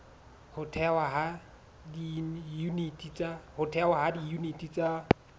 ho thehwa ha diyuniti tsa